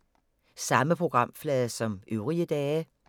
Samme programflade som øvrige dage